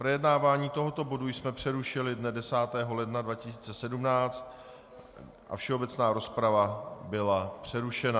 Projednávání tohoto bodu jsme přerušili dne 10. ledna 2017 a všeobecná rozprava byla přerušena.